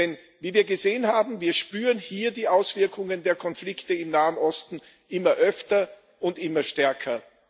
Denn wie wir gesehen haben, spüren wir hier die Auswirkungen der Konflikte im Nahen Osten immer öfter und immer stärker.